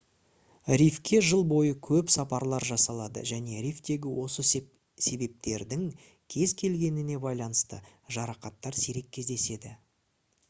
рифке жыл бойы көп сапарлар жасалады және рифтегі осы себептердің кез келгеніне байланысты жарақаттар сирек кездеседі